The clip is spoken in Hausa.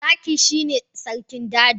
Zaki shine sarkin daji.